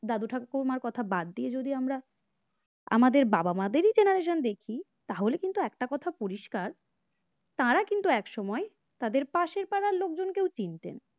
দাদা ঠাকুর মার কথা বাদ দিয়ে যদি আমরা আমাদের বাবা-মা দেরি generation দেখি তাহলে কিন্তু একটা কথা পরিষ্কার তারা কিন্তু একসময় তাদের পাশের পাড়ার লোকজন কেউ চিনতেন।